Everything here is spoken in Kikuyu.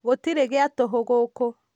gũtirĩ gĩa tũhũ gũkũ